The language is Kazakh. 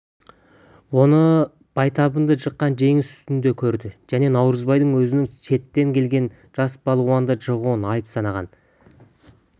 оны байтабынды жыққан жеңіс үстінде көрді және наурызбайдың өзінің шеттен келген жас балуанды жығуын айып санаған